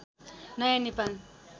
नयाँ नेपाल